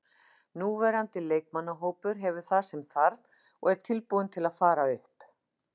Núverandi leikmannahópur hefur það sem þarf og er tilbúinn til að fara upp.